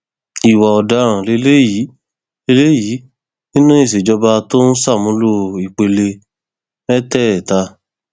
ìwà ọdaràn lélẹyìí lélẹyìí nínú ìṣèjọba tó ń ṣàmúlò ìpele mẹtẹẹta